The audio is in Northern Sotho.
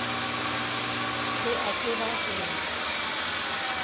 se ke a tseba gore